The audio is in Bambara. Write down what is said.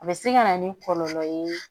A bɛ se ka na ni kɔlɔlɔ ye